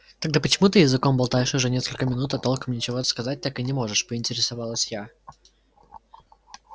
тогда почему ты языком болтаешь уже несколько минут а толком ничего сказать так и не можешь поинтересовалась я